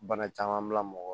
Bana caman bila mɔgɔ la